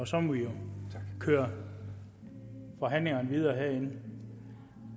så må vi jo køre forhandlingerne videre herinde